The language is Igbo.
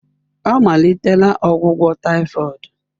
Ọ malitela ọgwụgwọ typhoid.